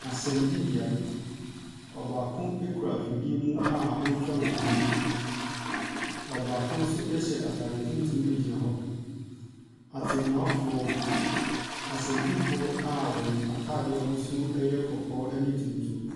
Asɛnnibea, ɔbaako kura afidie mu a ɔretwa mfonin. Ɔbaako nso hyɛ atade tuntum gyina hɔ. Atemmuafoɔ, asɛnnifoɔ a wɔn atadeɛ ahosuo yɛ kɔkɔɔ ne tuntum.